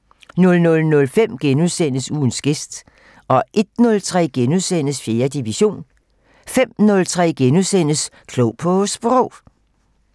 00:05: Ugens gæst * 01:03: 4. division * 05:03: Klog på Sprog *